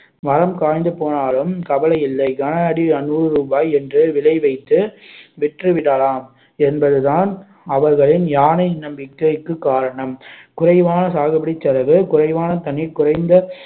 மரம் காய்ந்து போனாலும் கவலை இல்லை கன அடி நூறு ரூபாய் என்று விலை வைத்து விற்று விடலாம் என்பதுதான் அவர்களின் யானை நம்பிக்கைக்கு காரணம் குறைவான சாகுபடி செலவு குறைவான தண்ணீர் குறைந்த